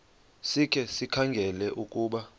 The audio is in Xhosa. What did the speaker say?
sikhe sikhangele ukuba